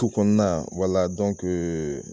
Tu kɔnɔna wala dɔnkee